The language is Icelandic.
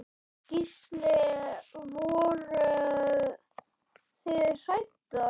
Gísli: Voruð þið hræddar?